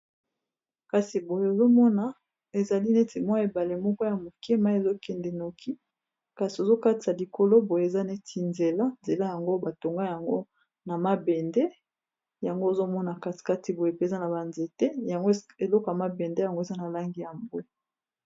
Kasi boye ozomona, ezali neti mwa ebale moko ya moke. Mai ezokende noki, kasi ozo katisa likolo boye, eza neti nzela. Nzela yango, batonga yango na mabende. Yango ozomona, kati kati boye eza na banzete. Yango eloko ya mabende yango eza na langi ya bwe.